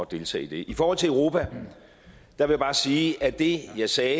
deltage i det i forhold til europa vil jeg bare sige at det jeg sagde